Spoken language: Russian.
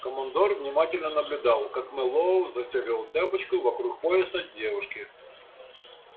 командор внимательно наблюдал как мэллоу застёгивал цепочку вокруг пояса девушки